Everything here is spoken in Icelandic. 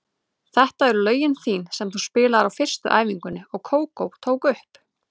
Þetta eru lögin þín sem þú spilaðir á fyrstu æfingunni og Kókó tók upp.